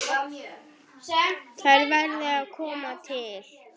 Þær verði að koma til.